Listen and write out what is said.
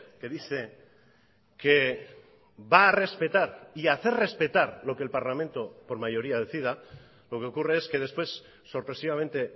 que dice que va a respetar y hacer respetar lo que el parlamento por mayoría decida lo que ocurre es que después sorpresivamente